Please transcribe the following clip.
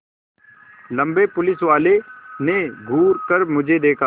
लम्बे पुलिसवाले ने घूर कर मुझे देखा